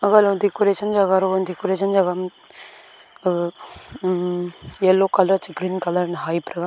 aga lo decoration jaga lo decoration jaga am aga um yellow colour che green colour hai pa thaga.